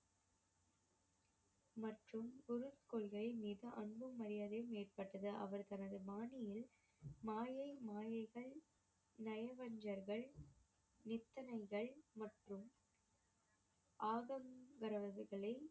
மற்றும் குரு கொள்கை மீது அன்பும் மரியாதையும் ஏற்பட்டது அவர் தனது பாணியில் மாயை, மாயைகள், நயவஞ்சகர்கள், நித்தனைகள் மற்றும்